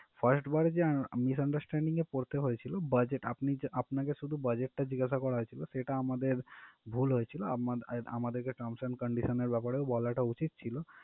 first বারে যে misunderstanding এ পড়তে হয়েছিল budget আপনি যে আপনাকে শুধু budget টা জিজ্ঞাসা করা হয়েছিল সেটা আমাদের ভুল হয়েছিল আমার~ আমাদেরকে terms and conditions র ব্যাপারেও বলাটা উচিত ছিল।